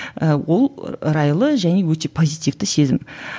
і ол райлы және өте позитивті сезім